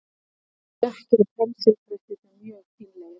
Litirnir voru oft dökkir og pensildrættirnir mjög fínlegir.